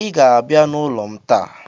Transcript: I ga-abịa n'ụlọ m taa.